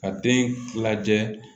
Ka den lajɛ